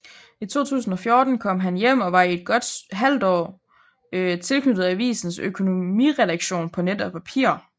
I 2014 kom han hjem og var i godt et halvt år tilknyttet avisens økonomiredaktion på net og papir